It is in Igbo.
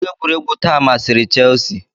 Akụkọ egwuregwu taa masịrị Chelsea